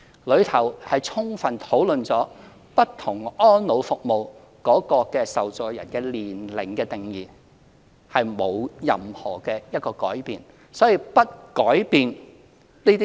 該方案充分討論了不同安老服務的受助人的年齡定義，沒有任何改變。